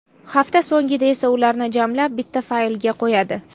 Hafta so‘ngida esa ularni jamlab bitta faylga qo‘yadi.